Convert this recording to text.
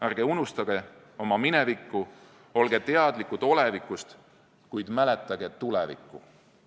Ärge unustage oma minevikku, olge teadlikud olevikust, kuid mäletage tulevikku.